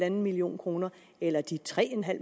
en million kroner eller de tre